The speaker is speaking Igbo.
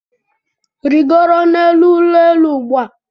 Rigoro n'elu ụlọ elu ugbu a!